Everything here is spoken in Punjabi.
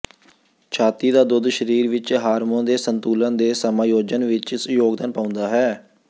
ਛਾਤੀ ਦਾ ਦੁੱਧ ਸਰੀਰ ਵਿੱਚ ਹਾਰਮੋਨ ਦੇ ਸੰਤੁਲਨ ਦੇ ਸਮਾਯੋਜਨ ਵਿੱਚ ਯੋਗਦਾਨ ਪਾਉਂਦਾ ਹੈ